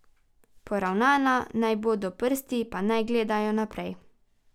Poravnana naj bodo, prsti pa naj gledajo naprej.